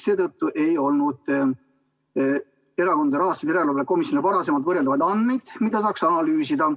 Seetõttu ei olnud Erakondade Rahastamise Järelevalve Komisjonil varasemalt võrreldavaid andmeid, mida saaks analüüsida.